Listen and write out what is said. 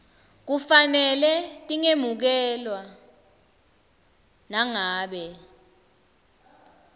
kufanele tingemukelwa nangabe